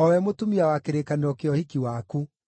o we mũtumia wa kĩrĩkanĩro kĩa ũhiki waku.